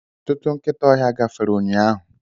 Ọtụtụ nkịta ọhịa gafere ụnyahụ.